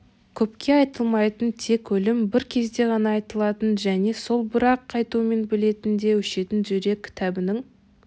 көпке айтылмайтын тек өлім бір кезде ғана айтылатын және сол бір-ақ айтумен бітетн де өшетін жүрек кітабының